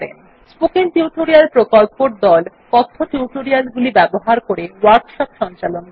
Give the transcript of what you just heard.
spoken tutorial প্রকল্পর দল কথ্য টিউটোরিয়াল গুলি ব্যবহার করে ওয়ার্কশপ সঞ্চালন করে